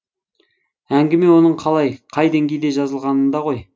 әңгіме оның қалай қай деңгейде жазылғанында ғой